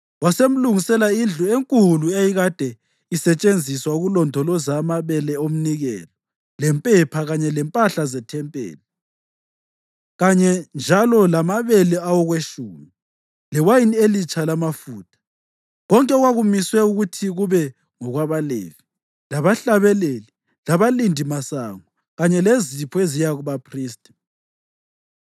wasemlungisela indlu enkulu eyayikade isetshenziswa ukulondoloza amabele omnikelo lempepha kanye lempahla zethempeli, kanye njalo lamabele awokwetshumi, lewayini elitsha lamafutha, konke okwakumiswe ukuthi kube ngokwabaLevi, labahlabeleli labalindimasango, kanye lezipho eziya kubaphristi.